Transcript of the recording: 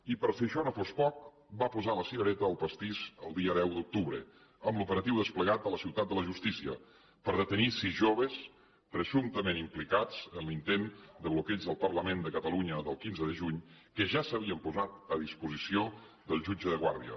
i per si això no fos poc va posar la cirereta al pastís el dia deu d’octubre amb l’operatiu desplegat a la ciutat de la justícia per detenir sis joves presumptament implicats en l’intent de bloqueig del parlament de catalunya del quinze de juny que ja s’havien posat a disposició del jutge de guàrdia